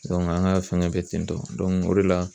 an ka fɛngɛ bɛ ten tɔ o de la